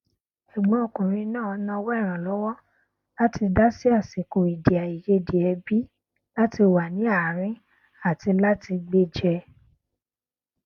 ẹgbọn ọkùnrin náà nawọ ìrànlọwọ láti dá sí àsìkò èdè àìyedè ẹbí láti wà ní àárín àti láti gbéjẹ